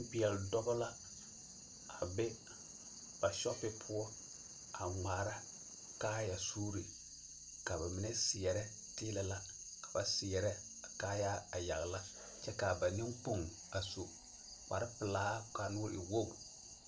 Nempeɛl dɔbɔ la a be ba shɔpi poɔ a ŋmaara kaayasuure ka ba mine seɛrɛ tiilɛ la ka ba seɛrɛ a kaayaa a yagla kyɛ kaa ba neŋkpoŋ a su kparrepelaa kaa nuuri e wogru.